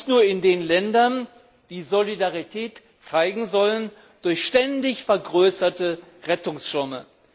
Und zwar nicht nur in den Ländern, die Solidarität zeigen sollen durch ständig vergrößerte Rettungsschirme.